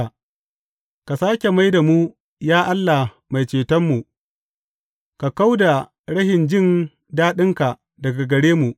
Ka sāke mai da mu, ya Allah Mai Cetonmu, ka kau da rashin jin daɗinka daga gare mu.